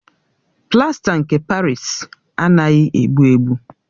Plasta nke Parịsi anaghị egbu egbu.